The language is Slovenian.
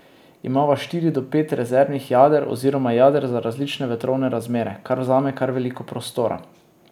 Imava štiri do pet rezervnih jader oziroma jader za različne vetrovne razmere, kar vzame kar veliko prostora.